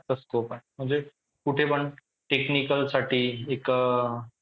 scope आहे म्हणजे कुठेपण technicalसाठी एक